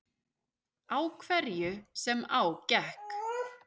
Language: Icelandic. Á hverju sem á gekk.